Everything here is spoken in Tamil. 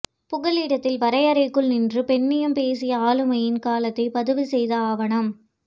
புகலிடத்தில் வரையறைக்குள் நின்று பெண்ணியம்பேசிய ஆளுமையின் காலத்தை பதிவுசெய்த ஆவணம்